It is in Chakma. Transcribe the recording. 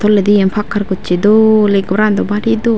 toledi iyan pakkar gochi dol a ghoran dw bari dol.